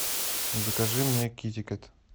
закажи мне китикет